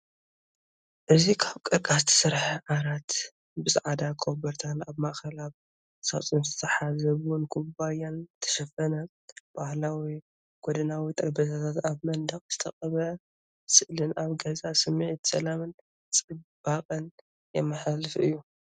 እዚ ካብ ቀርከሃ ዝተሰርሐ ዓራት፡ ብጻዕዳ ኮቦርታን ኣብ ማእከል ኣብ ሳጹን ዝተታሕዘ ቡን ኩባያን ዝተሸፈነ። ባህላዊ ጎድናዊ ጠረጴዛታትን ኣብ መንደቕ ዝተቐብአ ስእልን ኣብ ገዛ ስምዒት ሰላምን ጽባቐን የመሓላልፍ እዩ።